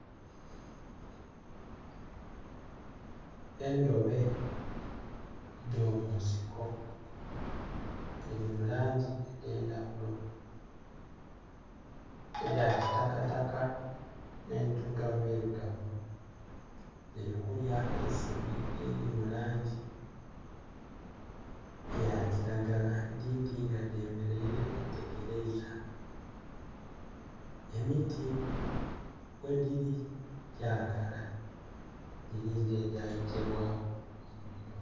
Endobe edo munsiko diri mulangi edhendhaghulo eda kitakataka nhedirugavu irugavu dirikulya eisuubi eriri mulangi eya kiragala edindi nga dhemeraire dhetegeraiza emiti kwediri gyakala. Giringa egyayokyerwaku omuliro